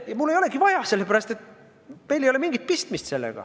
Ja mul ei olegi vaja, sellepärast et meil ei ole sellega mingit pistmist.